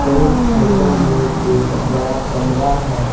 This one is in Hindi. इस फोटो में एक बड़ा कमरा है।